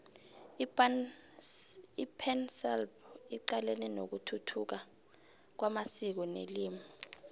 ipansalp icalene nokuthuthuka kwamasiko nelimi